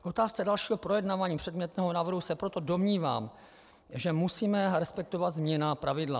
K otázce dalšího projednávání předmětného návrhu se proto domnívám, že musíme respektovat zmíněná pravidla.